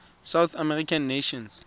south american nations